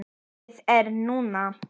Lífið er núna